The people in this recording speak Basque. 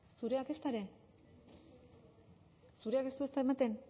zureak ezta ere zureak ere ez du ematen